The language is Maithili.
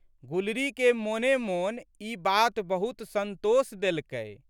गुलरीके मोनेमोन ई बात बहुत संतोष देलकै।